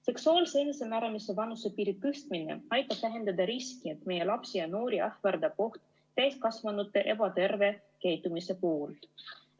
Seksuaalse enesemääramise vanusepiiri tõstmine aitab vähendada riski, et meie lapsi ja noori ähvardab oht langeda täiskasvanute ebaterve käitumise ohvriks.